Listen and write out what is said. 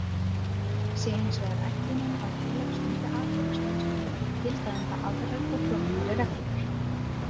Sé hins vegar ætlunin að félag stundi atvinnustarfsemi gilda um það aðrar og flóknari reglur.